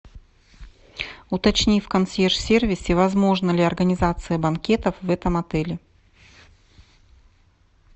уточни в консьерж сервисе возможна ли организация банкетов в этом отеле